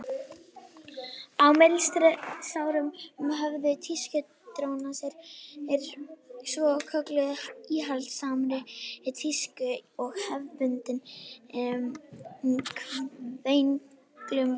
á millistríðsárunum höfnuðu tískudrósirnar svokölluðu íhaldssamri tísku og hefðbundnum kvenlegum gildum